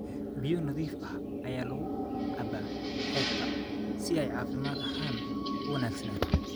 Biyo nadiif ah ayaa lagu cabbaa xeebta si ay caafimaad ahaan u wanaagsanaato.